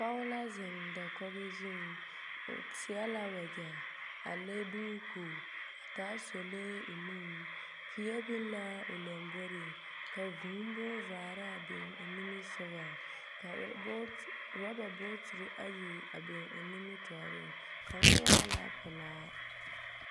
Pɔge la zeŋ dakɔge zuŋ, o seɛ la wɛgyɛ a le duuku, a taa solee o nuŋ. Peɛ biŋ l'a o lomboriŋ, ka vŭŭ bonvaaraa biŋ o nimisogɔŋ. Ka rɔ... boot rɔba bootiri ayi a biŋ o nimirtɔɔreŋ, kaŋa waa la pelaa.